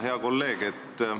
Hea kolleeg!